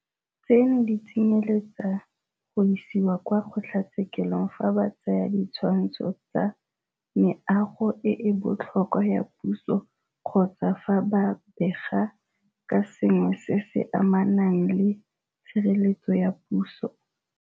Tseno di tsenyeletsa go isiwa kwa kgotlatshekelo fa ba tsaya ditshwantsho tsa Meago e e Botlhokwa ya Puso kgotsa fa ba bega ka sengwe se se amanang le Tshireletsego ya Puso.